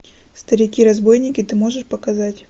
старики разбойники ты можешь показать